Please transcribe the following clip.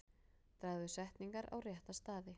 Dragðu setningar á rétta staði.